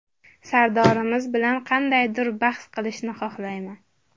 Sardorimiz bilan qandaydir bahs qilishni xohlamayman.